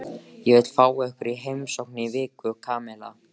Ég vil fá ykkur í heimsókn í viku, Kamilla.